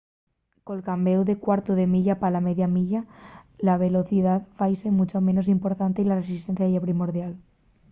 col cambéu del cuartu de milla pa la media milla la velocidá faise muncho menos importante y la resistencia ye primordial